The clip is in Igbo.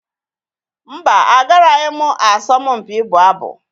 Mba, agaraghị m asọmpi ịbụ abụ.